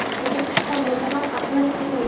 O‘tirib chiqqan bo‘lsa ham, aqli kirmagan.